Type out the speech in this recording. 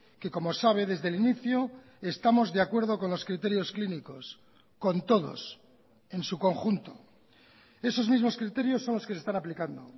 que como sabe desde el inicio estamos de acuerdo con los criterios clínicos con todos en su conjunto esos mismos criterios son los que se están aplicando